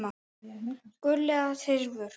Gull eða silfur?